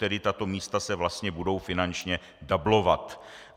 Tedy tato místa se vlastně budou finančně dublovat.